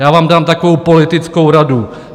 Já vám dám takovou politickou radu.